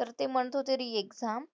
तर ते म्हणत होते re-exam